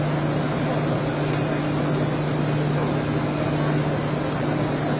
İki yüz doqquz min dörd yüz doqquz min beş yüz.